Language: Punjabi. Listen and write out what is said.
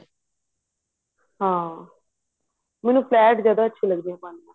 ਹਾਂ ਮੈਨੂੰ flat ਜਿਆਦਾ ਅੱਛੀ ਲਗਦੀ ਐ ਪਾਨੀ